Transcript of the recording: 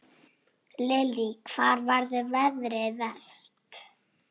Lillý: Hvar verður veðrið verst?